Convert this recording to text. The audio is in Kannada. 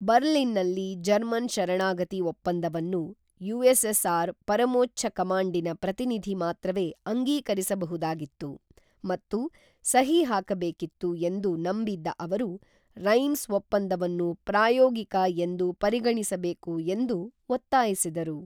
ಬರ್ಲಿನ್ನಲ್ಲಿ ಜರ್ಮನ್ ಶರಣಾಗತಿ ಒಪ್ಪಂದವನ್ನು ಯುಎಸ್ಎಸ್ಆರ್ ಪರಮೋಚ್ಚ ಕಮಾಂಡಿನ ಪ್ರತಿನಿಧಿ ಮಾತ್ರವೇ ಅಂಗೀಕರಿಸಬಹುದಾಗಿತ್ತು ಮತ್ತು ಸಹಿ ಹಾಕಬೇಕಿತ್ತು ಎಂದು ನಂಬಿದ್ದ ಅವರು ರೈಮ್ಸ್ ಒಪ್ಪಂದವನ್ನು ಪ್ರಾಯೋಗಿಕ ಎಂದು ಪರಿಗಣಿಸಬೇಕು ಎಂದು ಒತ್ತಾಯಿಸಿದರು